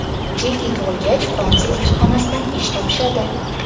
Jeki tug‘ilgach Fransiya elchixonasidan ish topishadi.